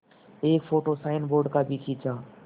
एक photo signboard का भी खींचा